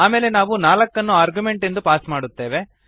ಆಮೇಲೆ ನಾವು 4 ಅನ್ನು ಆರ್ಗ್ಯುಮೆಂಟ್ ಎಂದು ಪಾಸ್ ಮಾಡುತ್ತೇವೆ